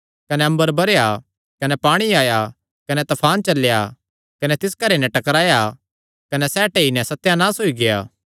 कने अम्बर बरैया कने पाणी आया कने तफान चलेया कने तिस घरे नैं टकराया कने सैह़ टेई नैं सत्यानाश होई गेआ